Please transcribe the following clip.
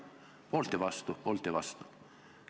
Poolt ja vastu, poolt ja vastu.